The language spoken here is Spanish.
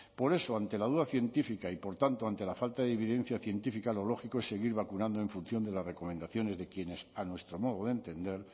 por eso ante la duda científica y por tanto ante la falta de evidencia científica lo lógico es seguir vacunando en función de las recomendaciones de quienes a nuestro modo de entender